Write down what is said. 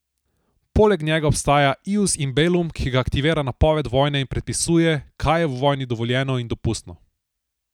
Poleg njega obstaja ius in bellum, ki ga aktivira napoved vojne in predpisuje, kaj je v vojni dovoljeno in dopustno.